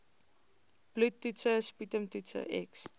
bloedtoetse sputumtoetse x